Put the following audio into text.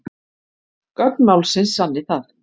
Gögn málsins sanni það